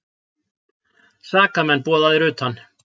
SAKAMENN BOÐAÐIR UTAN